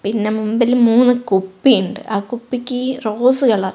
പിന്നെ മുന്പിൽ മൂന്ന് കുപ്പി ണ്ട് ആ കുപ്പിക്ക് റോസ് കളർ .